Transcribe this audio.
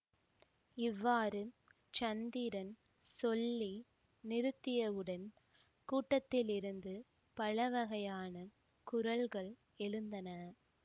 இவ்வாறு சந்திரன் சொல்லி நிறுத்தியவுடன் கூட்டத்திலிருந்து பலவகையான குரல்கள் எழுந்தன